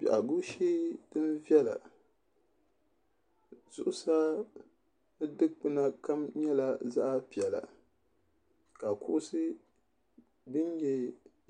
biɛhagu shee din viɛla zuɣusaa di dikpuna kam nyɛla zaɣ piɛla ka kuɣusi din nyɛ